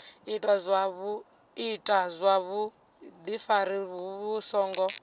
ita zwa vhudifari vhu songo